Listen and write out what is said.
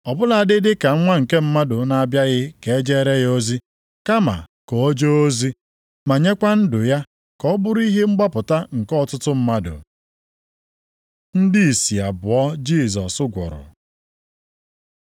Ọ bụladị dị ka Nwa nke Mmadụ na-abịaghị ka e jeere ya ozi, kama ka o jee ozi, ma nyekwa ndụ ya ka ọ bụrụ ihe mgbapụta nke ọtụtụ mmadụ.” Ndị ìsì abụọ Jisọs gwọrọ